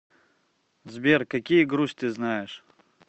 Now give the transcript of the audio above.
сбер какие грусть ты знаешь